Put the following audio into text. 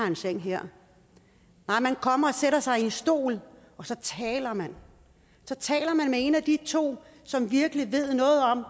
en seng her nej man kommer og sætter sig i en stol og så taler man så taler man med en af de to som virkelig ved noget om